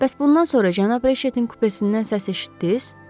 Bəs bundan sonra cənab Reçetin kupesindən səs eşitdiz?